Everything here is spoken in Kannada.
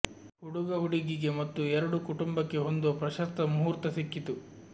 ಹುಡುಗ ಹುಡುಗಿಗೆ ಮತ್ತು ಎರಡೂ ಕುಟುಂಬಕ್ಕೆ ಹೊಂದುವ ಪ್ರಶಸ್ತ ಮುಹೂರ್ತ ಸಿಕ್ಕಿತು